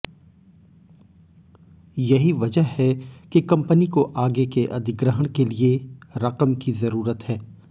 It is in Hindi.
यही वजह है कि कंपनी को आगे के अधिग्रहण के लिए रकम की जरूरत है